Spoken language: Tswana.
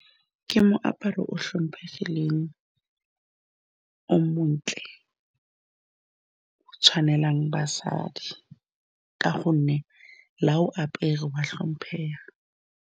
Ke moaparo o tlhomphegileng o montle o tshwanelang basadi ka gonne la o apere o a tlhomphega.